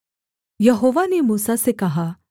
यहोवा ने मूसा से कहा